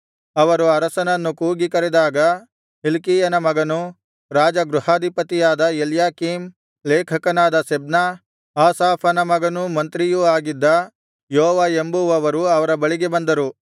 ಅವರು ಅರಸನನ್ನು ಕೂಗಿ ಕರೆದಾಗ ಹಿಲ್ಕೀಯನ ಮಗನೂ ರಾಜಗೃಹಾಧಿಪತಿಯಾದ ಎಲ್ಯಾಕೀಮ್ ಲೇಖಕನಾದ ಶೆಬ್ನ ಆಸಾಫನ ಮಗನೂ ಮಂತ್ರಿಯೂ ಆಗಿದ್ದ ಯೋವ ಎಂಬುವವರು ಅವರ ಬಳಿಗೆ ಬಂದರು